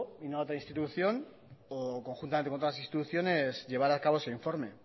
y no a otra institución o conjuntamente con todas las instituciones llevar acabo ese informe